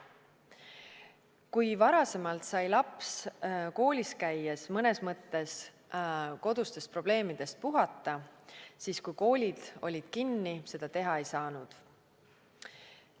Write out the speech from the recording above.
Kui varasemalt sai laps koolis käies mõnes mõttes kodustest probleemidest puhata, siis kui koolid olid kinni, seda teha ei saanud.